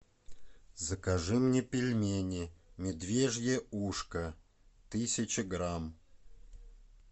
закажи мне пельмени медвежье ушко тысяча грамм